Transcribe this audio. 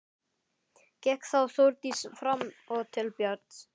Gekk þá Þórdís fram og til Björns.